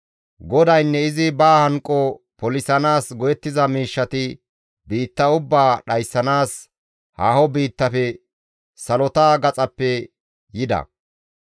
GODAYNNE izi ba hanqo polisanaas go7ettiza miishshati biitta ubbaa dhayssanaas haaho biittafe salota gaxappe yida.